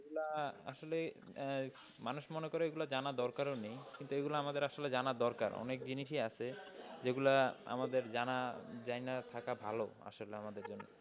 যেগুলা আসলে মানুষ মনে করে এগুলো জানার দরকারও নেই। কিন্তু এগুলো আমাদের আসলে জানা দরকার। অনেক জিনিসই আছে যেগুলা আমাদের জানা জাইনা থাকা ভালো আসলে আমাদের জন্য।